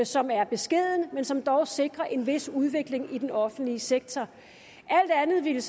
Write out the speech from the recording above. som er beskeden men som dog sikrer en vis udvikling i den offentlige sektor alt andet ville